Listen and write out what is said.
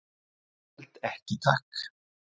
"""Ég held ekki, takk."""